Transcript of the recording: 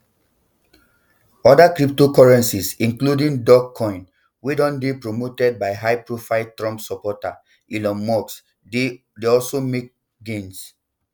other cryptocurrencies including dogecoin wey don dey promoted by highprofile trump supporter elon musk dey dey also make gains